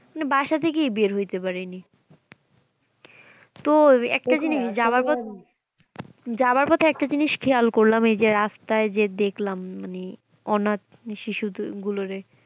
বাসা থেকেই বের হইতে পারেনি, তো একটা জিনিস যাবার পথে যাবার পথে একটা জিনিস খেয়াল করলাম এই যে রাস্তায় যে দেখলাম মানে অনাথ শিশুগুলোরে